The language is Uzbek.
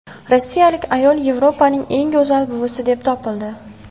Rossiyalik ayol Yevropaning eng go‘zal buvisi deb topildi.